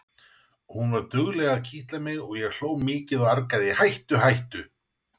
Hún var dugleg að kitla mig og ég hló mikið og argaði: Hættu hættu!